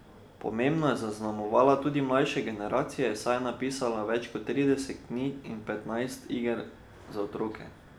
Pomembno je zaznamovala tudi mlajše generacije, saj je napisala več kot trideset knjig in petnajst iger za otroke.